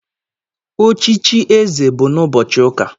Ochichi eze bụ na ụbọchị ụka.